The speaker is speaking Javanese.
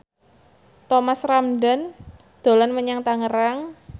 Thomas Ramdhan dolan menyang Tangerang